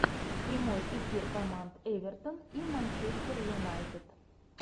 прямой эфир команд эвертон и манчестер юнайтед